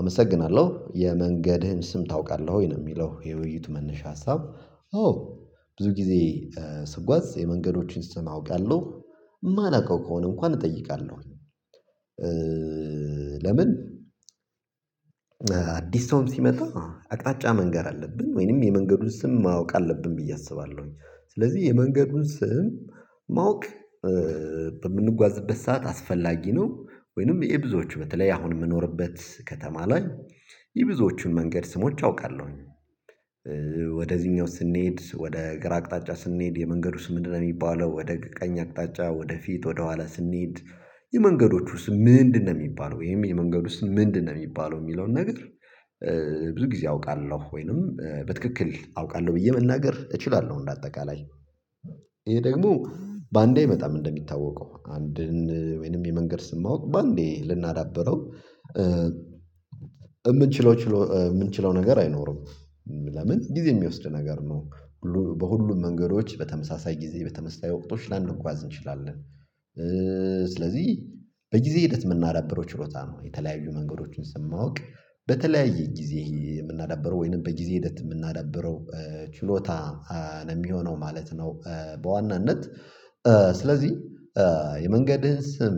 አመሰግናለሁ የመንገድህን ስም ታውቃለህ? ወይ ነው የሚለው የውይይቱ መነሻ ሀሳብ አዎ ብዙ ጊዜ ስጓዝ የመንገዶችን ስም አውቃለሁ የማላውቀው ከሆነ እንኳን እጠይቃለሁ። ለምን አዲስ ሰውም ሲመጣ አቅጣጫ መንገር አለብን ወይንም የመንገዱን ስም ማወቅ አለብን ብዬ አስባለሁኝ። ስለዚህ የመንገዱን ስም ማወቅ በምንጓዝበት ሰዓት አስፈላጊ ነው። ወይንም ይሄ ብዙዎች በተለይ አሁን የምኖርበት ከተማ ላይ የብዙዎቹን መንገድ ስሞች አውቃለሁኝ። ወደዚህኛው ስንሄድ ወደ ግራ አቅጣጫ ስንሄድ የመንገዱ ስም ምንድነው የሚባለው ወደ ቀኝ አቅጣጫ ወደ ፊት ወደ ኋላ ስንሄድ የመንገዶቹ ስም ምንድነው የሚባለው ወይም የመንገድ ስም ምንድነው የሚባለው የሚለውን ነገር ብዙ ጊዜ አውቃለሁ ወይንም በትክክል አውቃለሁ ብዬ መናገር እችላለሁ እንደ አጠቃላይ። ይሄ ደግሞ በአንዴ አይመጣም እንደሚታወቀው አንድን ወይንም የመንገድ ስም ማወቅ በአንዴ ልናዳብረው እምንችለው ችሎ የምንችለው ነገር አይኖርም ለምን ጊዜ የሚወስድ ነገር ነው። በሁሉም መንገዶች በተመሳሳይ ጊዜ በተመሳሳይ ወቅቶች ላንጓዝ እንችላለን። ስለዚህ በጊዜ ሂደት የምናደርገው ችሎታ ነው። የተለያዩ መንገዶችን ስም ማወቅ በተለያየ ጊዜ የምናዳብረው ወይንም በጊዜ ሂደት የምናዳብረው ችሎታ ነው የሚሆነው ማለት ነው በዋናነት። ስለዚህ የመንገድህን ስም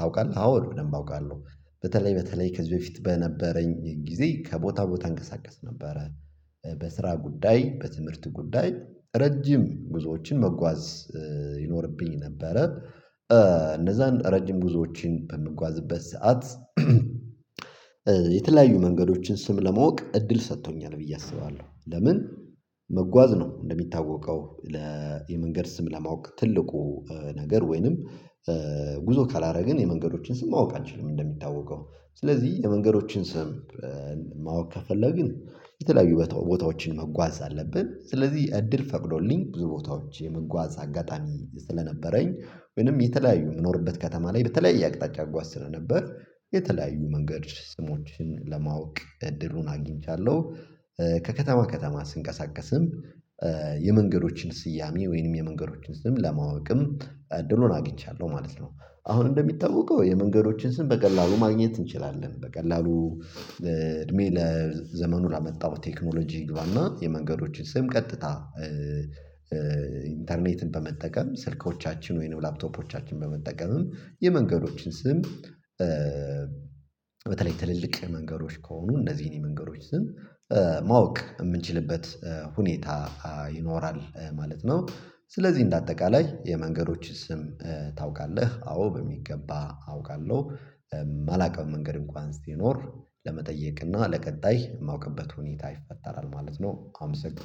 ታውቃለህ? አዎ በደንብ አውቃለሁ። በተለይ በተለይ ከዚህ በፊት በነበረኝ ጊዜ ከቦታ ቦታ እንቀሳቀስ ነበረ በስራ ጉዳይ፣ በትምህርት ጉዳይ ረጅም ጉዞዎችን መጓዝ ይኖርብኝ ነበረ። እነዛን ረጅም ጉዞዎችን በምንጓዝበት ሰዓት የተለያዩ መንገዶችን ስም ለማወቅ እድል ሰጥቶኛል ብዬ አስባለሁ። ለምን መጓዝ ነው እንደሚታወቀው ለ የመንገድ ስም ለማወቅ ትልቁ ነገር ወይንም ጉዞ ካላረግን የመንገዶችን ስም ማወቅ አንችልም እንደሚታወቀው። ስለዚህ የመንገዶችን ስም ማወቅ ከፈለግን የተለያዩ ቦታዎችን መጓዝ አለብን ስለዚህ እድል ፈቅዶልኝ ብዙ ቦታዎች የመጓዝ አጋጣሚ ስለነበረኝ ወይንም የተለያዩ የምኖርበት ከተማ ላይ በተለያየ አቅጣጫ አጓዥ ስለነበር የተለያዩ መንገድ ስሞችን ለማወቅ እድሉን አግኝቻለሁ። ከከተማ ከተማ ስንቀሳቀስም የመንገዶችን ስያሜ ወይንም የመንገዶችን ስም ለማወቅም እድሉን አግኝቻለሁ ማለት ነው። አሁን እንደሚጠውቀው የመንገዶችን ስም በቀላሉ ማግኘት እንችላለን በቀላሉ እድሜ ለዘመኑ ላመጣው ቴክኖሎጂ ይግባና የመንገዶችን ስም ቀጥታ ኢንተርኔትን በመጠቀም ስልኮቻችን ወይንም ላፕቶፖቻችን በመጠቀምም የመንገዶችን ስም በተለይ ትልልቅ መንገዶች ከሆኑ እንደዚህን ነው የመንገዶች ስም ማወቅ የምንችልበት ሁኔታ ይኖራል ማለት ነው። ስለዚህ እንደ አጠቃላይ የመንገዶችን ስም ታውቃለህ? አዎ በሚገባ አውቃለሁ። አላውቀውም መንገድ እንኳን ሲትኖር ለመጠየቅና ለቀጣይ የማውቅበት ሁኔታ ይፈጠራል ማለት ነው። አመሰግ